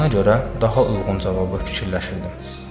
Buna görə daha uyğun cavabı fikirləşirdim.